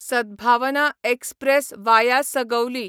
Sadbhavna express via Sugauli